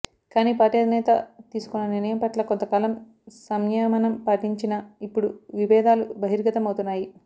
కాని పార్టీ అధినేత తీసుకున్న నిర్ణయం పట్ల కొంత కాలం సంయమనం పటించినా ఇప్పుడు విభేదాలు బహిర్గతం అవుతున్నాయి